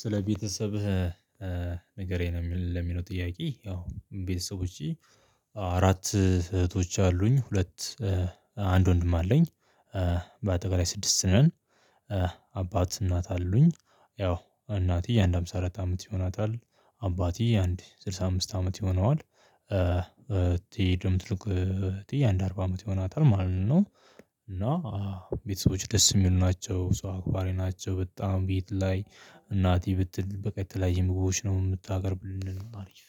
ስለ ቤተሰብህ ንገረኝ ነው የሚለው ጥያቄ? ያው ቤተሰቦቼ አራት እህቶች አሉኝ ሁለት አንድ ወንድም አለኝ። በአጠቃላይ ስድስት ነን። አባት እናት አሉኝ ያው እናትዬ አንድ ሃምሳ አራት አመት ይሆናታል አባትዬ አንድ ስልሳ አምስት አመት ይሆነዋል። ትሄድም ትልቅ ትዬ አንድ አርባ አመት ይሆናታል ማለት ነው። ቤተሰቦች ደስ የሚሉ ናቸው ሰው አክባሪ ናቸው። በጣም ቤት ላይ እናቴ ብትል በቀጥላ የምትጎቦች ነው የምታቀርብልን አሪፍ